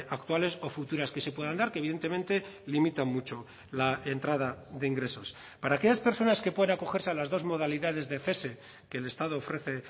actuales o futuras que se puedan dar que evidentemente limitan mucho la entrada de ingresos para aquellas personas que puedan acogerse a las dos modalidades de cese que el estado ofrece